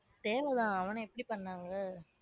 தேவைதான் அவன எப்டி பண்ணாங்க.